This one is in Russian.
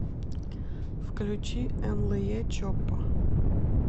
включи энлэе чоппа